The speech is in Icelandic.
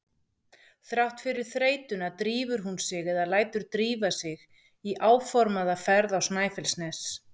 Þrátt fyrir þreytuna drífur hún sig eða lætur drífa sig í áformaða ferð á Snæfellsnes.